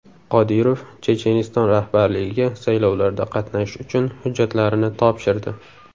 Qodirov Checheniston rahbarligiga saylovlarda qatnashish uchun hujjatlarini topshirdi.